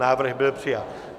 Návrh byl přijat.